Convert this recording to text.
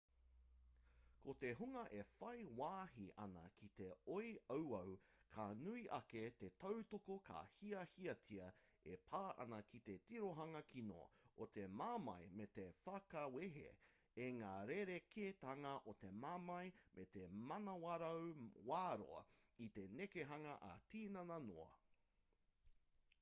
ko te hunga e whai wāhi ana ki te oi auau ka nui ake te tautoko ka hiahiatia e pā ana ki te tirohanga kino o te mamae me te whakawehe i ngā rerekētanga o te mamae me te manawarau wā-roa i te nekehanga ā-tinana noa